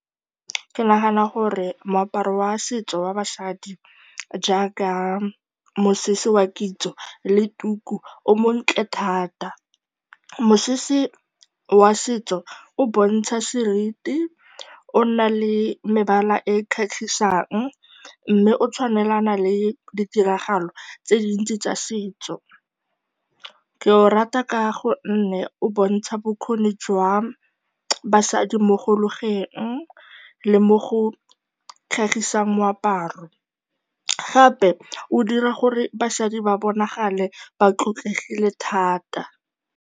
Ke nagana gore moaparo wa setso wa basadi jaaka mosese wa kitso le tuku o montle thata. Mosese wa setso o bontsha seriti, o nna le mebala e e kgatlhisang mme o tshwanelana le ditiragalo tse dintsi tsa setso. Ke o rata ka gonne o bontsha bokgoni jwa basadi mo go logeng le mo go tlhagiseng moaparo. Gape, o dira gore basadi ba bonagale ba tlotlegile thata.